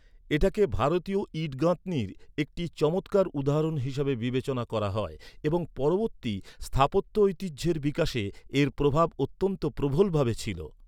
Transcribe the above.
এটাকে ভারতীয় ইট গাঁথনির একটি চমৎকার উদাহরণ হিসেবে বিবেচনা করা হয় এবং পরবর্তী স্থাপত্য ঐতিহ্যের বিকাশে এর প্রভাব অত্যন্ত প্রবল ভাবে ছিল।